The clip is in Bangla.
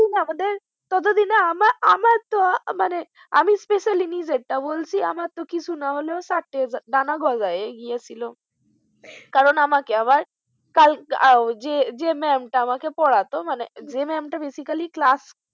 মানে আমি especially নিজেরটা বলছি, কিছু না হলেও চারটে ডানা গজায় গেছিল কারণ আমাকে আবার যেই ma'am টা আমাকে পড়াতো যে ma'am টা basically ক্লাস।